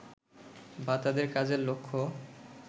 বা তাদের কাজের লক্ষ্য